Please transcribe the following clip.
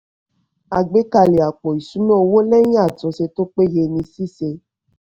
àgbékalẹ̀ àpò ìṣúná owó lẹ́yìn àtúnṣe tó péye ni ṣíṣe.